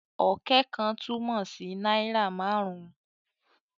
"Ọ̀kẹ́ kan" túmọ̀ sí náírà márùn-ún